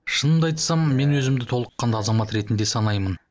шынымды айтсам мен өзімді толыққанды азамат ретінде санаймын